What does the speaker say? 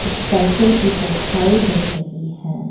Cycle की परछाई दिख रही है।